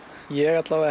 ég